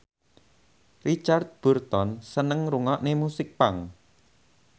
Richard Burton seneng ngrungokne musik punk